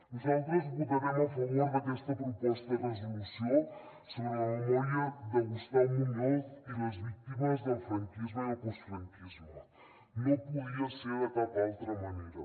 nosaltres votarem a favor d’aquesta proposta de resolució sobre la memòria de gustau muñoz i les víctimes del franquisme i el postfranquisme no podia ser de cap altra manera